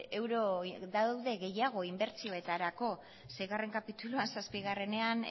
euro daude gehiago inbertsioetarako seigarren kapituluan zazpigarrenean